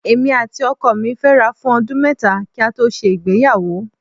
Èmi àti ọkọ mí fẹ́ra fún ọdún mẹ́ta kí a tó ṣe ìgbéyàwó